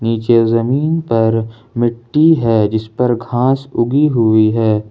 नीचे जमीन पर मिट्टी है जिस पर घास उगी हुई है।